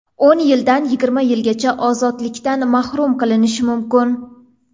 o‘n yildan yigirma yilgacha ozodlikdan mahrum qilinishi mumkin.